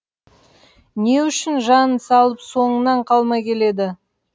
не үшін жанын салып соңынан қалмай келеді